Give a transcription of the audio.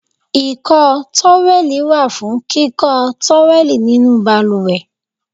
Ìkọ́ tówẹ́lì wà fún kíkọ́ tówẹ́lì nínú balùwẹ̀.